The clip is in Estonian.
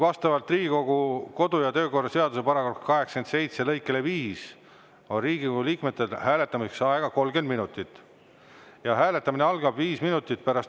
Vastavalt Riigikogu kodu- ja töökorra seaduse § 87 lõikele 5 on Riigikogu liikmetel hääletamiseks aega 30 minutit.